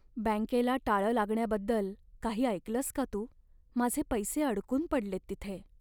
बँकेला टाळं लागण्याबद्दल काही ऐकलंस का तू? माझे पैसे अडकून पडलेत तिथे.